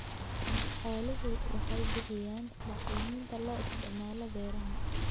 Xooluhu waxay bixiyaan bacriminta loo isticmaalo beeraha.